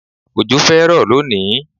Òjò fẹ́ rọ̀ lónìí